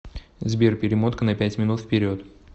сбер перемотка на пять минут вперед